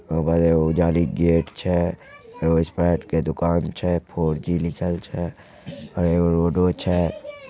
Mobile ओर जाडी के गेट छै। ओर स्पाइट के दुकान छै। फोर जी लिखाल छै। एगो रोडो छै।